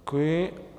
Děkuji.